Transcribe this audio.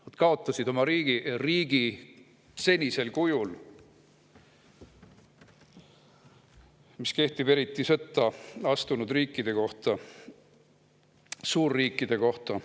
Nad kaotasid oma riigi senisel kujul, mis kehtib eriti sõtta astunud riikide kohta, suurriikide kohta.